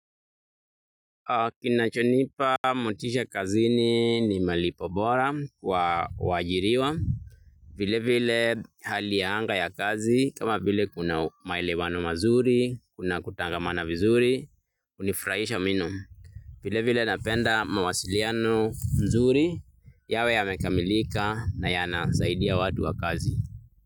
Kinachonipa motisha kazini ni malipo bora kwa wajiiriwa vile vile hali ya anga ya kazi kama vile kuna mailewano mazuri, kuna kutangamana vizuri, hunifurahisha mno. Vile vile napenda mawasiliano mzuri yawe yamekamilika na yana zaidi ya watu wa kazi.